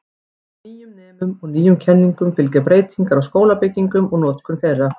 Nýjum nemum og nýjum kenningum fylgja breytingar á skólabyggingum og notkun þeirra.